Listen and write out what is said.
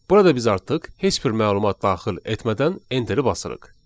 Burada biz artıq heç bir məlumat daxil etmədən enteri basırıq.